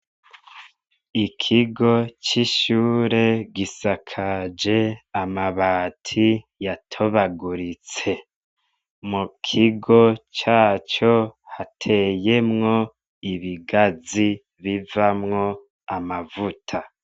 Ikigo c'ishure gisakaje amabati yatobaguritse. Mu kigo caco hateyemwo ibgazi bivamwo amavuta.